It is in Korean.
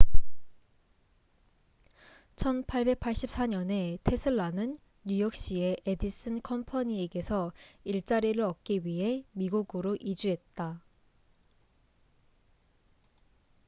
1884년에 테슬라는 뉴욕시의 에디슨 컴퍼니에게서 일자리를 얻기 위해 미국으로 이주했다